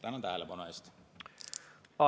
Tänan tähelepanu eest!